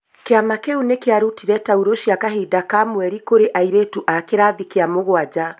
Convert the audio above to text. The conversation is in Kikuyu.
Kĩama kĩu nĩ kĩarutire tauro cia kahinda ka mweri kũrĩ airĩtu a kĩrathi kĩa mũgwanja